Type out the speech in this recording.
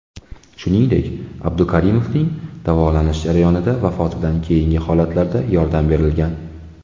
Shuningdek, Abdukarimovning davolanish jarayonida, vafotidan keyingi holatlarda yordam berilgan.